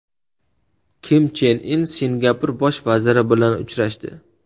Kim Chen In Singapur bosh vaziri bilan uchrashdi .